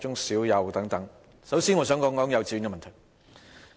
首先，我想談及幼稚園的問題。